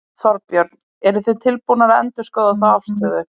Þorbjörn: Eruð þið tilbúnir að endurskoða þá afstöðu?